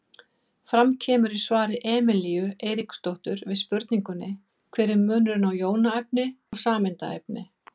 Fram kemur í svari Emelíu Eiríksdóttur við spurningunni Hver er munurinn á jónaefni og sameindaefni?